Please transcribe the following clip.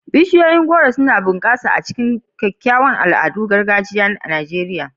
Bishiyoyin Kola-nut suna bunƙasa a cikin kyawawan al'adun gargajiya na Najeriya.